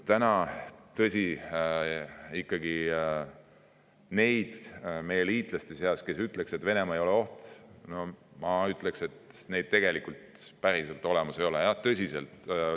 Nüüd küll, tõsi, meie liitlaste seas neid, kes ütleksid, et Venemaa ei ole oht, päriselt olemas ei ole.